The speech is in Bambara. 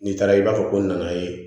N'i taara i b'a fɔ ko n nana ye